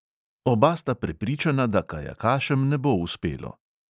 Oba sta prepričana, da kajakašem ne bo uspelo.